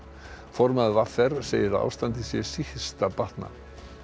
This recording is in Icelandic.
formaður v r segir að ástandið sé síst að batna